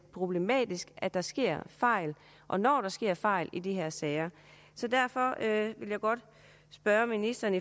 problematisk at der sker fejl og når der sker fejl i de her sager så derfor vil jeg godt spørge ministeren